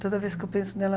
Toda vez que eu penso nela...